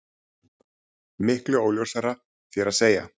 Miklu óljósari, þér að segja.